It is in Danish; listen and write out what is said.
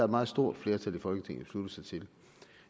meget stort flertal i folketinget besluttet sig til